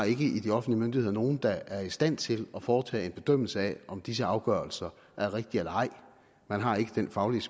ikke i de offentlige myndigheder har nogen der er i stand til at foretage en bedømmelse af om disse afgørelser er rigtige eller ej man har ikke den faglige